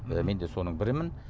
мен де соның бірімін